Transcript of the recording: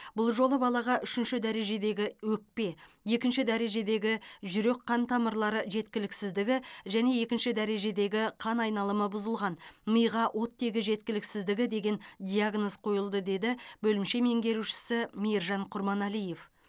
бұл жолы балаға үшінші дәрежедегі өкпе екінші дәрежедегі жүрек қан тамырлары жеткіліксіздігі және екінші дәрежедегі қан айналымы бұзылған миға оттегі жеткіліксіздігі деген диагноз қойылды деді бөлімше меңгерушісі мейіржан құрманалиев